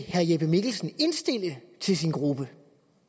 jeppe mikkelsen indstille til sin gruppe